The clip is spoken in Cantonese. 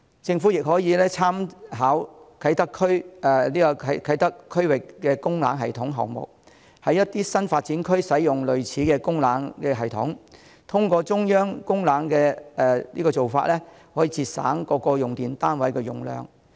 政府亦可以參考啟德發展區區域供冷系統項目，在一些新發展區使用類似的供冷系統，通過中央供冷的做法，可以節省各用電單位的用量。